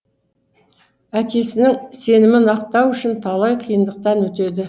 әкесіңін сенімін ақтау үшін талай қиындықтан өтеді